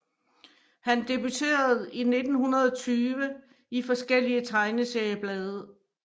Han debuterede i 1920 i forskellige tegneserieblade